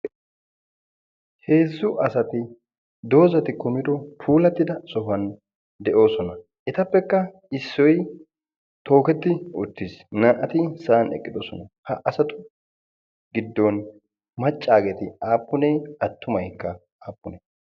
Heezzu asati doozati kumidi puulattida sohuwan de'oosona. Etappekka issoy tooketti uttiis. Naa'ati sa'an eqqidosona. Ha asatu giddon maccaageeti aappunee? Attumaykka aappunee?